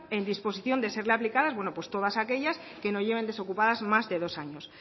en disposición de serle aplicadas todas aquellas que no lleven desocupadas más de dos años